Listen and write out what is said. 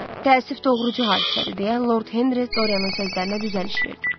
Təəssüf, doğrucu hadisədir, deyə Lord Henri Doryanın sözlərinə düzəliş verdi.